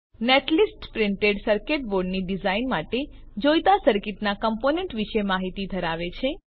netlist printed circuit બોર્ડની design માટે જોઈતા સર્કીટનાં કમ્પોનેન્ટ વિશેની માહિતી ધરાવે છે